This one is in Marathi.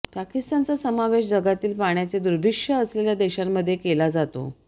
पाकिस्तानचा समावेश जगातील पाण्याचे दुर्भिक्ष्य असलेल्या देशांमध्ये केला जातो